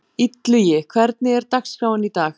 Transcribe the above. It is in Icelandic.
Illugi, hvernig er dagskráin í dag?